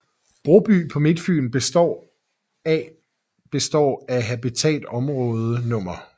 Broby på Midtfyn og består af består af Habitatområde nr